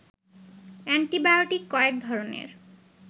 antibiotic কয়েক ধরণের